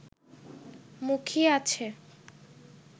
মুখিয়ে আছে